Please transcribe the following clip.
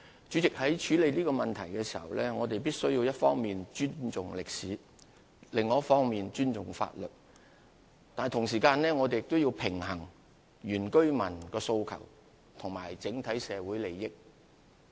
主席，在處理這問題時，我們必須一方面尊重歷史，另一方面尊重法律，但同時亦須平衡原居民的訴求與整體社會利益。